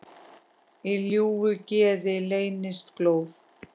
Í ljúfu geði leynist glóð.